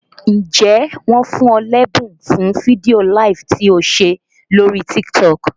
Ǹjẹ́ wọn fún ọ lẹ́bùn fún fídíò LIVE tí o ṣe lóríí TikTok?